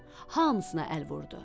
Hamısına əl vurdu.